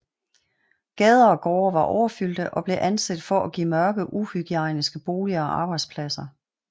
Gader og gårde var overfyldte og blev anset for at give mørke uhygiejniske boliger og arbejdspladser